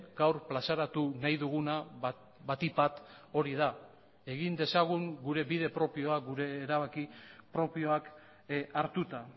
gaur plazaratu nahi duguna batik bat hori da egin dezagun gure bide propioa gure erabaki propioak hartuta